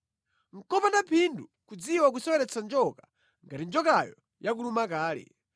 Nʼkopanda phindu kudziwa kuseweretsa njoka ngati njokayo yakuluma kale.